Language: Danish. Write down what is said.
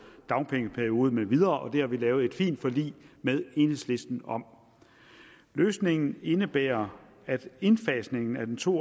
dagpengeperiode med videre det har vi lavet et fint forlig med enhedslisten om løsningen indebærer at indfasningen af den to